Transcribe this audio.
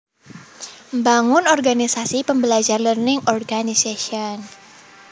Mbangun organisasi pembelajar Learning Organization